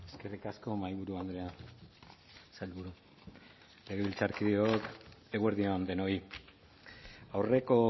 eskerrik asko mahaiburu andrea sailburu legebiltzarkideok eguerdi on denoi aurreko